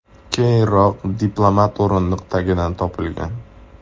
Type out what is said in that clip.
Keyinroq diplomat o‘rindiq tagidan topilgan.